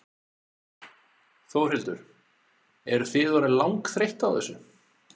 Þórhildur: Eruð þið orðin langþreytt á þessu?